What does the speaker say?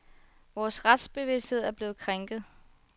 Vores retsbevidsthed er blevet krænket.